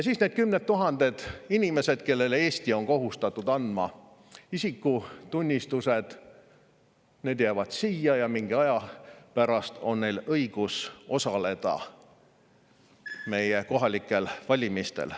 Siis need kümned tuhanded inimesed, kellele Eesti on kohustatud andma isikutunnistused, jäävad siia ja mingi aja pärast on neil õigus osaleda meie kohalikel valimistel.